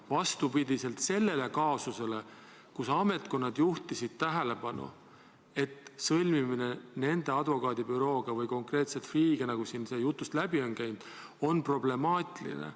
Vastupidiselt sellele kaasusele, kus ametkonnad juhtisid tähelepanu, et lepingu sõlmimine selle advokaadibürooga või konkreetselt Freeh'ga, nagu siin jutust läbi on käinud, on problemaatiline.